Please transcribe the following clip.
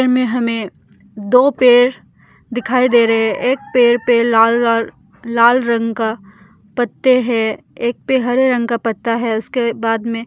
इनमे हमे दो पेर दिखाई दे रहे एक पेड़ पे लाल-लाल लाल का रंग का पत्ते है एक पे हरे रंग का पत्ता है उसके बाद में --